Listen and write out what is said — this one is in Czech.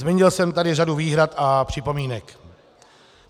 Zmínil jsem tady řadu výhrad a připomínek.